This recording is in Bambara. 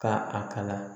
Ka a kala